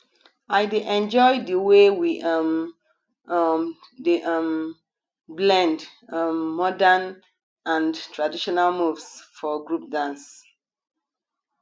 i dey enjoy the way we um um dey um blend um modern and traditional moves for group dance